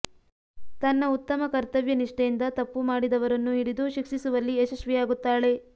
ತನ್ನ ಉತ್ತಮ ಕರ್ತವ್ಯ ನಿಷ್ಠೆಯಿಂದ ತಪ್ಪು ಮಾಡಿದವರನ್ನು ಹಿಡಿದು ಶಿಕ್ಷಿಸುವಲ್ಲಿ ಯಶಸ್ವಿಯಾಗುತ್ತಾಳೆ